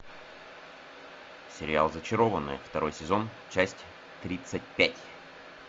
сериал зачарованные второй сезон часть тридцать пять